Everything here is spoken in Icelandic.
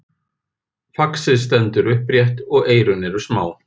Faxið stendur upprétt og eyrun eru smá.